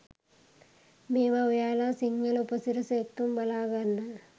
මේවා ඔයාලා සිංහල උපසිරැස එක්කම බලාගන්න